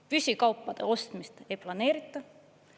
Püsikaupade ostmist ei planeerita.